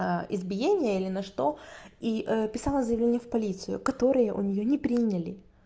избиение или на что и писала заявление в полицию которое у неё не приняли